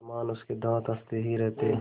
समान उसके दाँत हँसते ही रहते